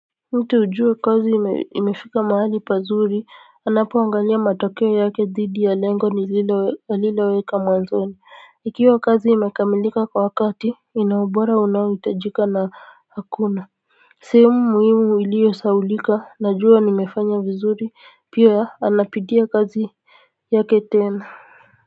Mtu hujua kazi imefika mahali pazuri anapoangalia matokeo yake dhidi ya lengo nililo aliloweka mwanzoni ikiwa kazi imekamilika kwa wakati ina ubora unaohitajika na hakuna sehemu muhimu iliyosahaulika najua nimefanya vizuri pia anapitia kazi yake tena kwa hivyo.